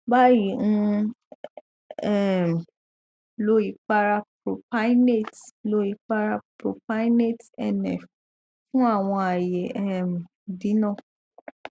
bayi n um lo ipara propynate lo ipara propynate nf fun awọn aaye um idina